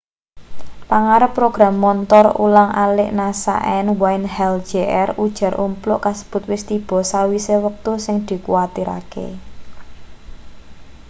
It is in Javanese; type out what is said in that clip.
pangarep program montor ulang alik nasa n wayne hale jr ujar umpluk kasebut wis tiba sawise wektu sing dikuwatirake